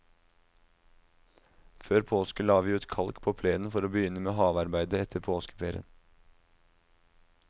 Før påske la vi ut kalk på plenen for å begynne med havearbeide etter påskeferien.